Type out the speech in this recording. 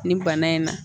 Nin bana in na